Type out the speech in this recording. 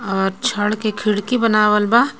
आ छड़ के खिड़की बनावल बा.